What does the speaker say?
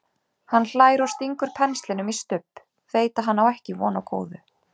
Hann hlær og stingur penslinum í Stubb, veit að hann á ekki von á góðu.